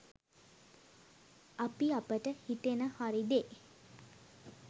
අපි අපට හිතෙන හරි දේ